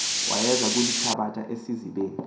wayeza kulithabatha esizibeni